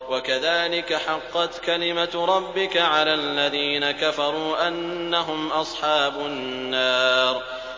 وَكَذَٰلِكَ حَقَّتْ كَلِمَتُ رَبِّكَ عَلَى الَّذِينَ كَفَرُوا أَنَّهُمْ أَصْحَابُ النَّارِ